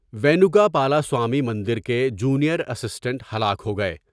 وینوکا پالاسوامی مندر کے جونیئر اسٹنٹ ہلاک ہو گئے ۔